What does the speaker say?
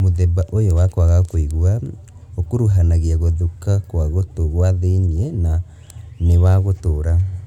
Mũthemba ũyũ wa kwaga kũigua ũkuruhanagia gũthũka kwa gũtũ gwa thĩiniĩ na nĩ wa gũtũra